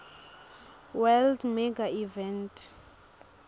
world mega events